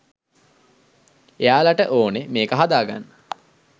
එයාලට ඕනෙ මේක හදාගන්න